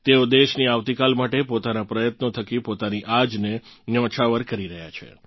તેઓ દેશની આવતીકાલ માટે પોતાનાં પ્રયત્નો થકી પોતાની આજને ન્યોછાવર કરી રહ્યાં છે